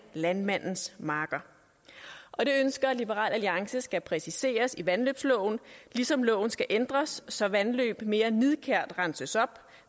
landmandens marker og det ønsker liberal alliance skal præciseres i vandløbsloven ligesom loven skal ændres så vandløb mere nidkært renses op